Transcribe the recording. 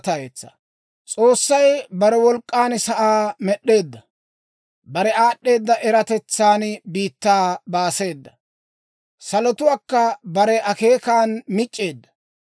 S'oossay bare wolk'k'an sa'aa med'd'eedda; bare aad'd'eeda eratetsan biittaa baaseeda; salotuwaakka bare akeekan mic'c'eedda.